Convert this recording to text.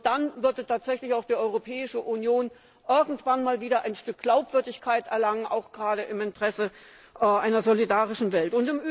Nur dann wird tatsächlich auch die Europäische Union irgendwann einmal wieder ein Stück Glaubwürdigkeit erlangen, auch gerade im Interesse einer solidarischen Welt.